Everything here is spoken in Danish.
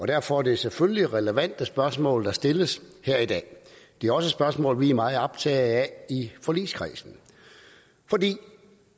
derfor er det selvfølgelig relevante spørgsmål der stilles her i dag det er også spørgsmål vi er meget optaget af i forligskredsen